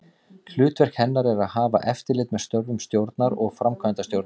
Hlutverk hennar er að hafa eftirlit með störfum stjórnar og framkvæmdastjóra.